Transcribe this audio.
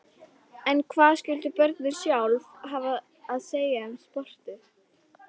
En hvað skyldu börnin sjálf hafa að segja um sportið?